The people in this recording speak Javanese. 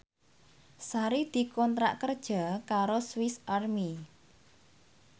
Sari dikontrak kerja karo Swis Army